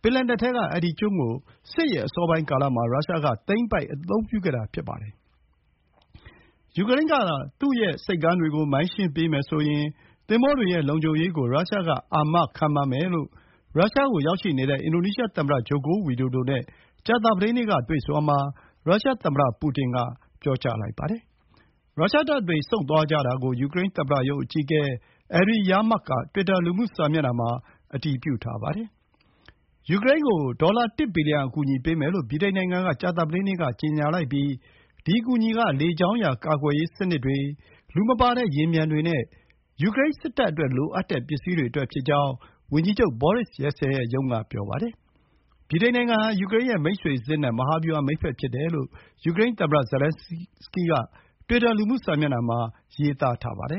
ပင်လယ်နက်ထဲက ဒီကျွန်းကို စစ်အစောပိုင်းကာလမှာ ရုရှားက သိမ်းပိုက် အသုံးပြုခဲ့တာ ဖြစ်ပါတယ်။ ယူကရိန်းကသာ သူ့ရဲ့ဆိပ်ကမ်းတွေကို မိုင်းရှင်းပေးမယ်ဆိုရင် သင်္ဘောတွေရဲ့လုံခြုံရေးကို ရုရှားက အာမခံပါမယ်လို့ ရုရှားကို ရောက်ရှိနေတဲ့ အင်ဒိုနီးရှားသမ္မတ Joko Widodo နဲ့ ကြာသပတေးနေ့က တွေ့ဆုံရာမှာ ရုရှားသမ္မတပူတင်က ပြောပါတယ်။ ရုရှားတပ်တွေ ဆုတ်သွားကြတာကို ယူကရိန်း သမ္မတရုံးအကြီးအကဲ Andriy Yermak က တွစ်တာလူမှုစာမျက်နှာမှာ အတည်ပြုထားပါတယ်။ ယူကရိန်းကို ဒေါ်လာ တစ်ဘီလီယံ အကူအညီပေးမယ်လို့ ဗြိတိန်နိုင်ငံက ကြာသပတေးနေ့က ကြေညာလိုက်ပြီး ဒီ အကူအညီက လေကြောင်းရန် ကာကွယ်ရေးစနစ်တွေ၊ လူမပါတဲ့ယာဉ်ပျံတွေနဲ့ ယူကရိန်းစစ်တပ်အတွက် လိုအပ်တဲ့ ပစ္စည်းတွေအတွက်ဖြစ်ကြောင်း ဝန်ကြီးချုပ် Boris Johnson ရုံးက ပြောပါတယ်။ ဗြိတိန်နိုင်ငံဟာ ယူကရိန်းရဲ့မိတ်ဆွေစစ်နဲ့ မဟာဗျူဟာ မိတ်ဘက် ဖြစ်တယ်လို့ ယူကရိန်းသမ္မတ Zelenskyy က တွစ်တာ လူမှုစာမျက်နှာမှာ ရေးထားပါတယ